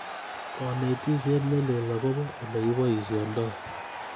Konetisiet ne lel agobo Ole kiboisyondoi